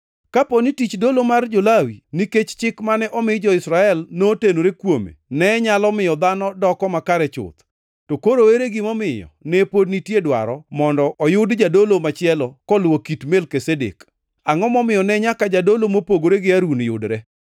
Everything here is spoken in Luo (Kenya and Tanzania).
Kapo ni tich dolo mar jo-Lawi nikech chik mane omi jo-Israel notenore kuome ne nyalo miyo dhano doko makare chuth, to koro ere gimomiyo ne pod nitie dwaro mondo oyud jadolo machielo koluwo kit Melkizedek? Angʼo momiyo ne nyaka jadolo mopogore gi Harun yudre?